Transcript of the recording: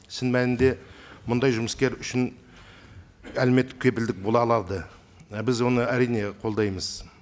шын мәнінде мұндай жұмыскер үшін әлеуметтік кепілдік бола алады біз оны әрине қолдаймыз